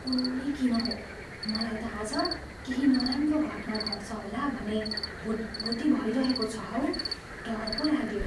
कुन्नी किन हो, मलाई त आज केही नराम्रो घट्ना घट्छ होला भने भुटभुटी भइरहेको छ हौ। डर पो लाग्यो।